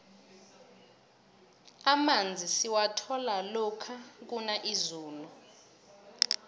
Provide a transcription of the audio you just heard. amanzi siwathola lokha kuna izulu